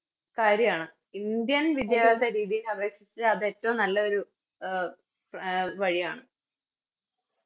കാര്യവാണ് Indian വിദ്യാഭ്യാസ രീതിയെ അപേക്ഷിച്ച് അതേറ്റോം നല്ലൊരു അഹ് അഹ് വഴിയാണ്